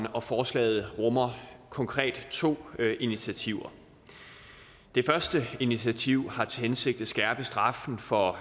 og forslaget rummer konkret to initiativer det første initiativ har til hensigt at skærpe straffen for